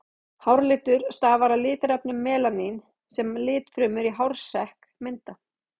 Hárlitur stafar af litarefninu melanín sem litfrumur í hársekk mynda.